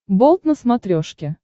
болт на смотрешке